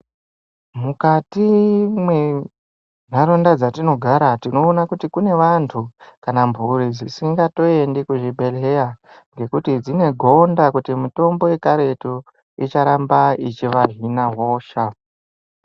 Mukati mwenharaunda dzatinogara tinoona kuti kune vantu kana mhuri dzisingatoende kuzvibhedhlera ngekuti dzine gonda kuti mitombo yekaretu icharamba ichiva hina hosha.